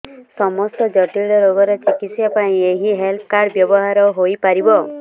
ସମସ୍ତ ଜଟିଳ ରୋଗର ଚିକିତ୍ସା ପାଇଁ ଏହି ହେଲ୍ଥ କାର୍ଡ ବ୍ୟବହାର ହୋଇପାରିବ